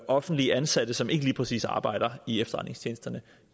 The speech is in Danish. offentligt ansatte som ikke lige præcis arbejder i efterretningstjenesterne